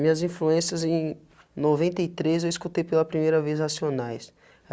Minhas influências em noventa e três eu escutei pela primeira vez racionais.